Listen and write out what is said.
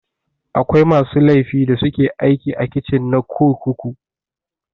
Akwai masu laifi da suke aiki a kicin na kurkuku.